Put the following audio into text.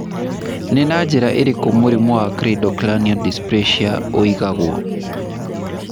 Nĩ na njĩra ĩrĩkũ mũrimũ wa cleidocranial dysplasia ũigagwo?